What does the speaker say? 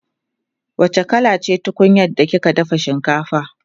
wacce kala ce tunkunyar da kika dafa shinkafa?